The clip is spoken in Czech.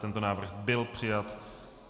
Tento návrh byl přijat.